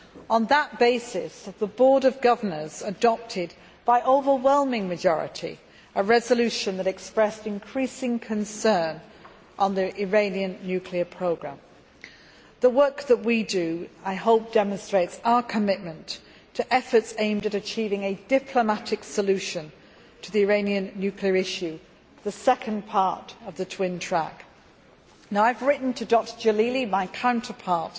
On that basis, the Board of Governors adopted by overwhelming majority a resolution that expressed increasing concern on the Iranian nuclear programme. I hope that the work that we do demonstrates our commitment to efforts aimed at achieving a diplomatic solution to the Iranian nuclear issue, the second part of the twin track. I have written to Dr Jalili, my counterpart,